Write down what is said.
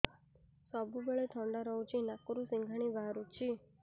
ସବୁବେଳେ ଥଣ୍ଡା ରହୁଛି ନାକରୁ ସିଙ୍ଗାଣି ବାହାରୁଚି